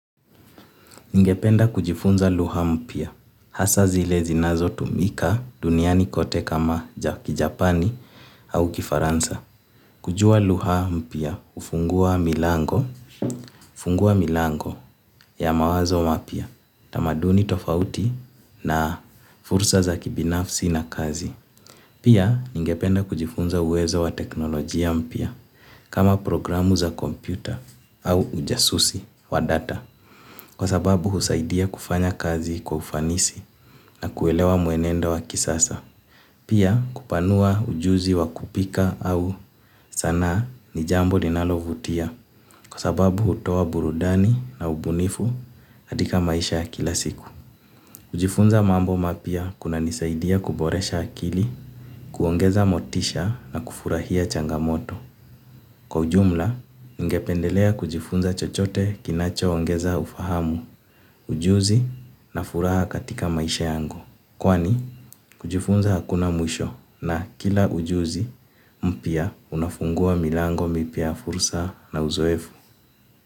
Ningependa kujifunza lugha mpya, hasa zile zinazotumika duniani kote kama kijapani au kifaransa. Kujua lugha mpya hufungua milango ya mawazo mapya tamaduni tofauti na fursa za kibinafsi na kazi. Pia ningependa kujifunza uwezo wa teknolojia mpya kama programu za kompyuta au ujasusi wa data. Kwa sababu husaidia kufanya kazi kwa ufanisi na kuelewa mwenendo wa kisasa. Pia kupanua ujuzi wa kupika au sanaa ni jambo linalovutia. Kwa sababu hutoa burudani na ubunifu katika maisha ya kila siku. Kujifunza mambo mapya kunanisaidia kuboresha akili, kuongeza motisha na kufurahia changamoto. Kwa ujumla, ningependelea kujifunza chochote kinachoongeza ufahamu, ujuzi na furaha katika maisha yangu. Kwani, kujifunza hakuna mwisho na kila ujuzi mpya unafungua milango mipya ya fursa na uzoefu.